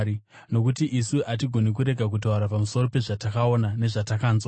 Nokuti isu hatigoni kurega kutaura pamusoro pezvatakaona nezvatakanzwa.”